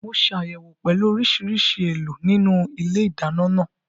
Mo ṣàyẹ̀wò pẹ̀lú oríṣiríṣi èèlò nínú ilé ìdáná náà